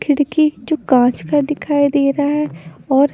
खिड़की जो कांच का दिखाई दे रहा है और--